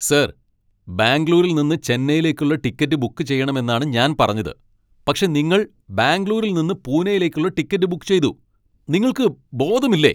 Sir! ബാംഗ്ലൂരിൽ നിന്ന് ചെന്നൈയിലേക്കുള്ള ടിക്കറ്റ് ബുക്ക് ചെയ്യണമെന്നാണ് ഞാൻ പറഞ്ഞത്, പക്ഷെ നിങ്ങൾ ബാംഗ്ലൂരിൽ നിന്ന് പൂനെയിലേക്കുള്ള ടിക്കറ്റ് ബുക്ക് ചെയ്തു. നിങ്ങൾക്ക് ബോധമില്ലേ?